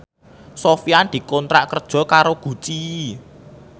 Sofyan dikontrak kerja karo Gucci